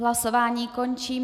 Hlasování končím.